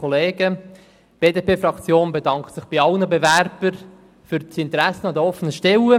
Die BDP-Fraktion bedankt sich bei allen Bewerbern für das Interesse an den offenen Stellen.